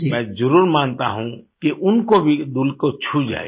मैं जरुर मानता हूँ कि उनको भी दिल को छू जाएगी